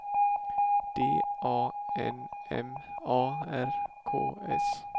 D A N M A R K S